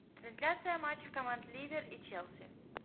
трансляция матча команд ливер и челси